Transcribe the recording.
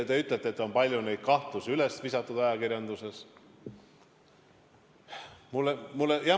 Te ütlete, et neid kahtlusi on ajakirjanduses palju üles visatud.